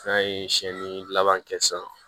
N'a ye siɲɛni laban kɛ sisan